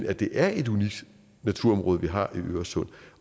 at det er et unikt naturområde vi har i øresund